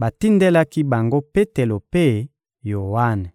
batindelaki bango Petelo mpe Yoane.